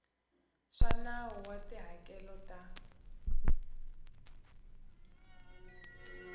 swa nawu wa tihakelo ta